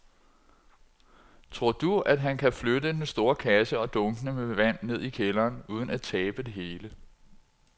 Tror du, at han kan flytte den store kasse og dunkene med vand ned i kælderen uden at tabe det hele?